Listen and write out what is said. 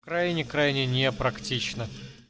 крайне крайне непрактично